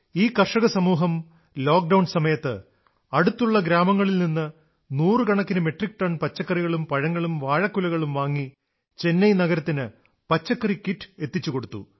ഈ കർഷകസമൂഹം ലോക്ഡൌൺ സമയത്ത് അടുത്തുള്ള ഗ്രാമങ്ങളിൽ നിന്ന് നൂറുകണക്കിന് മെട്രിക് ടൺ പച്ചക്കറികളും പഴങ്ങളും വാഴക്കുലകളും വാങ്ങി ചെന്നൈ നഗരത്തിൽ പച്ചക്കറി കിറ്റ് എത്തിച്ചു കൊടുത്തു